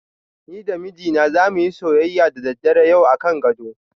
Ni da mijina zamu yi soyyaya da daddare yau akan gado.